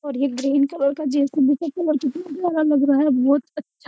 और ये green colour का जेसीबी का कलर कितना प्यारा लग रहा है बहुत अच्छा।